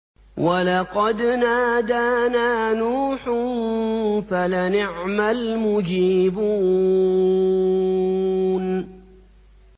وَلَقَدْ نَادَانَا نُوحٌ فَلَنِعْمَ الْمُجِيبُونَ